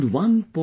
Around 1